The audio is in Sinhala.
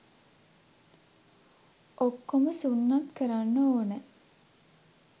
ඔක්කොම සුන්නත් කරන්න ඕන